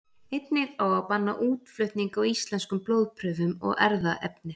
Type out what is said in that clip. Einnig á að banna útflutning á íslenskum blóðprufum og erfðaefni.